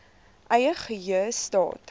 eie geheue staat